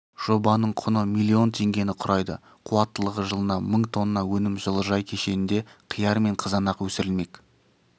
жобаның құны миллион теңгені құрайды қуаттылығы жылына мың тонна өнім жылыжай кешенінде қияр мен қызанақ өсірілмек